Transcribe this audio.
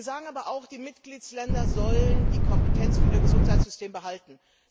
Wir sagen aber auch, die Mitgliedstaaten sollen die Kompetenz für ihr Gesundheitssystem behalten.